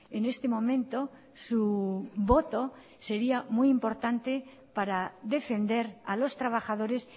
en este momento su voto sería muy importante para defender a los trabajadores